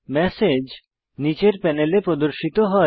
message নীচের প্যানেলে প্রদর্শিত হয়